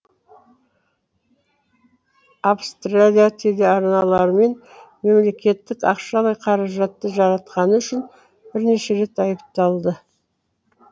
австралия телеарналарымен мемлекеттік ақшалай қаражатты жаратқаны үшін бірнеше рет айыпталды